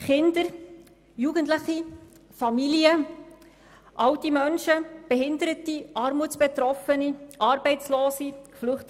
Kinder, Jugendliche, Familien, alte Menschen, Behinderte, Armutsbetroffene, Arbeitslose und Flüchtlinge.